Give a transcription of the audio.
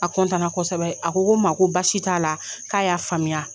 A kosɛbɛ a ko ko n ma ko baasi t'a la k'a y'a faamuya.